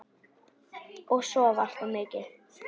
Og sofa allt of mikið.